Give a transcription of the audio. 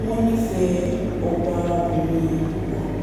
wọ́n nífẹ̀ ẹ ọba-bìnrin yìí púpọ̀